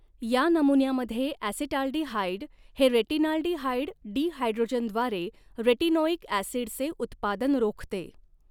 या नमुन्यामध्ये, ॲसीटाल्डिहाइड हे रेटिनालडीहाइड डिहायड्रोजनेजद्वारे रेटिनोइक ॲसिडचे उत्पादन रोखते.